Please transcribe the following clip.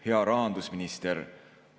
Hea rahandusminister!